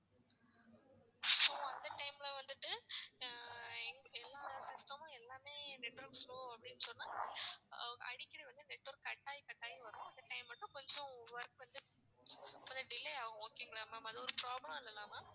so அந்த time ல வந்துட்டு ஆஹ் எல்லாம் system மும் எல்லாமே network slow அப்படின்னு சொன்னா அடிக்கடி வந்து network cut ஆகி cut ஆகி வரும் அந்த time மட்டும் கொஞ்சம் work வந்து கொஞ்சம் delay ஆகும் okay ங்களா ma'am அது ஒரு problem இல்லல்ல ma'am